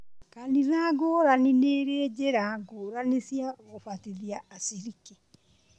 Kanitha ngũrani nĩirĩ njĩra ngũrani cia gũbatithia aciriki